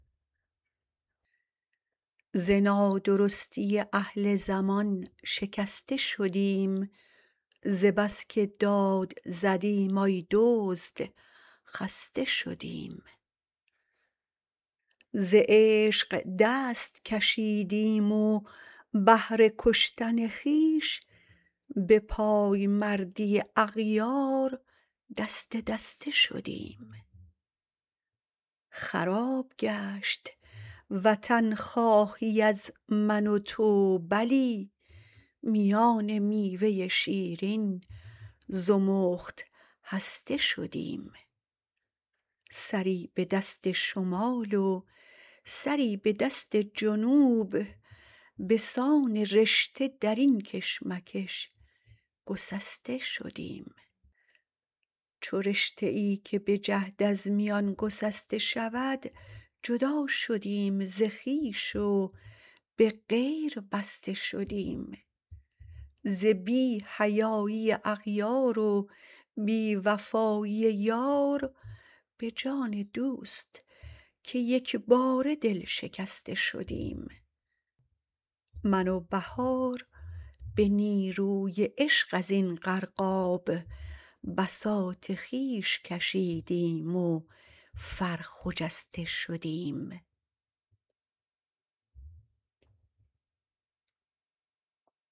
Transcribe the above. ز نادرستی اهل زمان شکسته شدیم ز بس که داد زدیم آی دزد خسته شدیم ز عشق دست کشیدیم و بهر کشتن خویش به پایمردی اغیار دسته دسته شدیم خراب گشت وطنخواهی از من و تو بلی میان میوه شیرین زمخت هسته شدیم سری به دست شمال و سری به دست جنوب بسان رشته در این کشمکش گسسته شدیم چو رشته ای که به جهد از میان گسسته شود جدا شدیم ز خویش و به غیر بسته شدیم ز بی حیایی اغیار و بی وفایی یار به جان دوست که یکباره دل شکسته شدیم من و بهار به نیروی عشق ازین غرقاب بساط خویش کشیدیم و فر خجسته شدیم